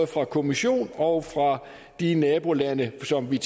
fra kommissionen og fra de nabolande som vi